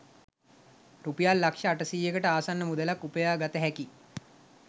රුපියල් ලක්ෂ අටසීයකට ආසන්න මුදලක් උපයා ගත හැකි